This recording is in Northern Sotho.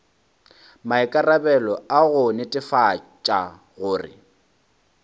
maikarabelo a go netefatša gore